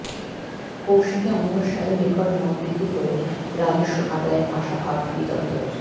কৌশিকী অমবস্যায় রেকর্ড মদ বিক্রি করে রাজস্ব আদায়ের আশা আবগারি দফতরের